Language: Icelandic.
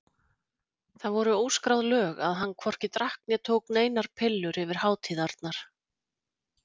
Það voru óskráð lög að hann hvorki drakk né tók neinar pillur yfir hátíðarnar.